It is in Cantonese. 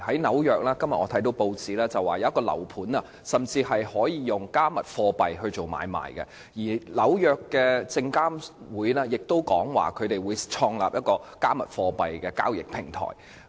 今天我看到報章報道紐約一個樓盤，甚至可以用"加密貨幣"進行買賣，而美國證券交易委員會亦表示會創立一個"加密貨幣"的交易平台。